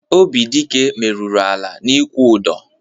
Obidịke meruru ala n'ikwu ụdọ.